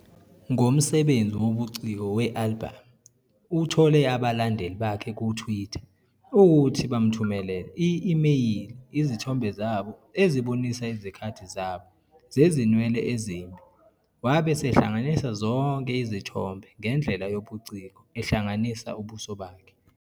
Ngomsebenzi wobuciko we- albhamu, uthole abalandeli bakhe ku- Twitter ukuthi bamthumelele i-imeyili izithombe zabo ezibonisa izikhathi zabo zezinwele ezimbi, wabe esehlanganisa zonke izithombe ngendlela yobuciko ehlanganisa ubuso bakhe.